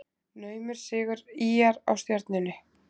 Naumur sigur ÍR á Stjörnunni